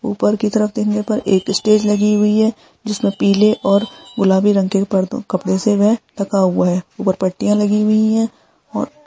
ऊपर की तरफ देखने पर एक स्टेज लगी हुई है जिसमें पिले और गुलाबी रंग के पर कपड़े से वे ढका हुआ है ऊपर पट्टिया लगी हुई है।